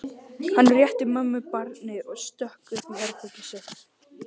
Hann rétti mömmu barnið og stökk upp í herbergið sitt.